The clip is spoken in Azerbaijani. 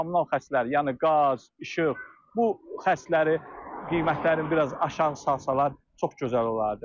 Kommunal xəstləri, yəni qaz, işıq, bu xəstləri qiymətlərini biraz aşağı salsalar çox gözəl olardı.